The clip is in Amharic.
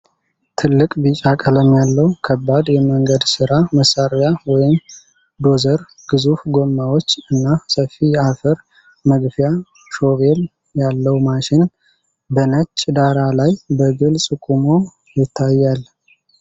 ትልቅ፣ ቢጫ ቀለም ያለው፣ ከባድ የመንገድ ሥራ መሣሪያ ወይም ዶዘር፣ ግዙፍ ጎማዎች እና ሰፊ የአፈር መግፊያ ሾቬል ያለው ማሽን፣ በነጭ ዳራ ላይ በግልጽ ቆሞ ይታያል።